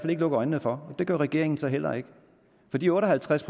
ikke lukke øjnene for og det gør regeringen så heller ikke for de otte og halvtreds